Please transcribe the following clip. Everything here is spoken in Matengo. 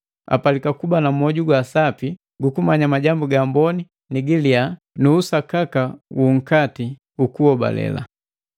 apalika kuba na mwoju gwa sapi gukumanya majambu ga amboni ni giliya nu usakaka wu nkati jukuhobale.